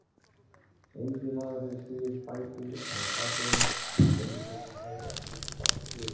Enginn maður hefur stigið fæti á Satúrnus en reikistjarnan hefur ekkert fast yfirborð.